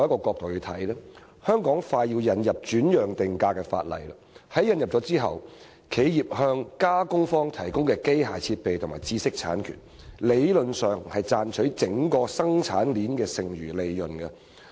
香港快要引入轉讓定價的法例，法例引入後，企業向加工方提供的機械設備和知識產權，理論上是賺取整個生產鏈的剩餘利潤。